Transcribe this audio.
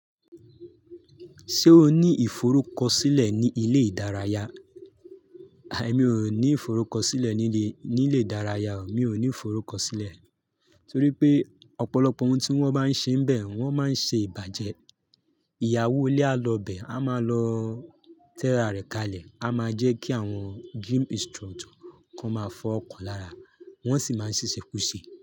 Ṣé o ní ìforúkọsílẹ̀ ní ilé ìdárayá è mi ò ní ìforúkọsílẹ̀ ní ilé, ní ilé ìdárayá o, mi ò ní ìforúkọsílẹ̀. Torí pé ọ̀pọ̀lọpọ̀ ohun tí wọ́n bá ń ṣe níbẹ́ẹ̀, wọ́n máa ń ṣe ìbàjẹ́. Ìyàwó ilé á lọ bè, á máa lọ tẹ́ra rẹ̀ kalẹ̀, á máa jẹ́ kí àwọn gym instructor k'ón máa fọwó kàán lára, wọ́n sì máa ń ṣẹ́ṣẹ kúse.